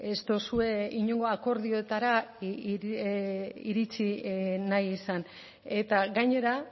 ez duzue inongo akordiora iritzi nahi izan eta gainera